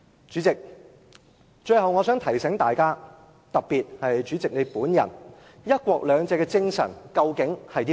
主席，我最後想提醒大家，特別主席本人，"一國兩制"的精神究竟是甚麼？